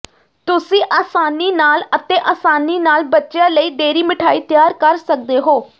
ਤੁਸੀਂ ਆਸਾਨੀ ਨਾਲ ਅਤੇ ਆਸਾਨੀ ਨਾਲ ਬੱਚਿਆਂ ਲਈ ਡੇਅਰੀ ਮਿਠਾਈ ਤਿਆਰ ਕਰ ਸਕਦੇ ਹੋ